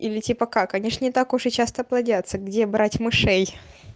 или типа как они ж не так уж и часто плодятся где брать мышей